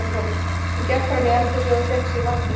Hún gekk fram í eldhúsið og fékk sér vatn í glas.